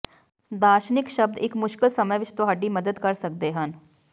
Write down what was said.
ਦਾਰਸ਼ਨਿਕ ਸ਼ਬਦ ਇੱਕ ਮੁਸ਼ਕਲ ਸਮੇਂ ਵਿੱਚ ਤੁਹਾਡੀ ਮਦਦ ਕਰ ਸਕਦੇ ਹਨ